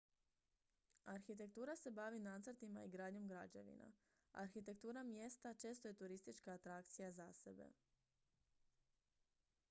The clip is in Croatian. arhitektura se bavi nacrtima i gradnjom građevina arhitektura mjesta često je turistička atrakcija za sebe